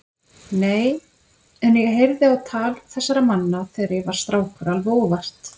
Nei, en ég heyrði á tal þessara manna þegar ég var strákur alveg óvart.